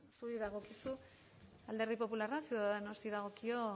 zuri dagokizu alderdi popularra ciudadanosi dagokio